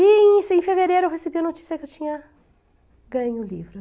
E em fevereiro eu recebi a notícia que eu tinha ganho o livro.